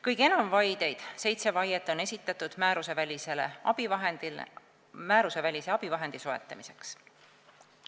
Kõige enam vaideid, seitse vaiet, on esitatud määrusevälise abivahendi soetamiseks.